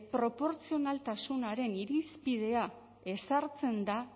proportzionaltasunaren irizpidea ezartzen da